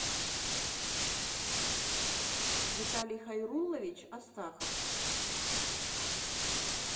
виталий хайруллович астахов